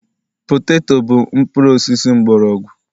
poteto bụ mpuru osisi mgbọrọgwụ